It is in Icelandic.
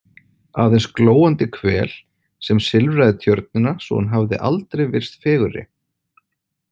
Aðeins glóandi hvel sem silfraði tjörnina svo hún hafði aldrei virst fegurri.